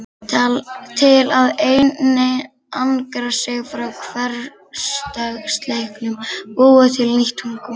Til að einangra sig frá hversdagsleikanum búið til nýtt tungumál